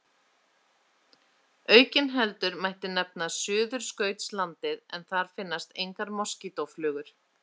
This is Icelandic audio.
Aukinheldur mætti nefna Suðurskautslandið en þar finnast engar moskítóflugur.